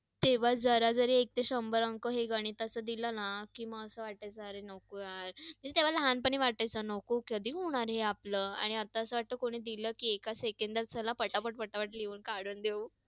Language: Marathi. तेव्हा जरा तरी हे एक ते शंभर अंक गणिताच दिलना तर मग असं वातासायचं अरे नको यार. तेव्हा लहानपणी वाटायचं नको, कधी होणार हे आपलं आणि आता असं वाटतं कोणी दिल कि एका सेकंदात चला पटापट पटापट लिहून काढून देऊ.